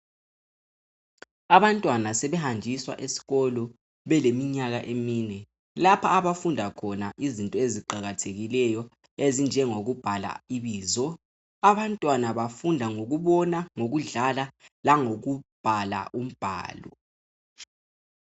Abantwana sebehanjiswa eskolo beleminyaka emine. Lapho abafunda khona izinto eziqakathekileyo ezinje ngokubhala ibizo . Abantwana bafunda ngokubona, ngokudlala langokubhala umbhalo.